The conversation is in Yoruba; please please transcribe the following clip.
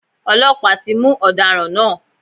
Ọlọ́pàá ti mú ọ̀daràn náà.